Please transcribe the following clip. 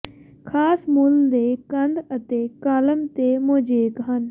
ਖਾਸ ਮੁੱਲ ਦੇ ਕੰਧ ਅਤੇ ਕਾਲਮ ਤੇ ਮੋਜ਼ੇਕ ਹਨ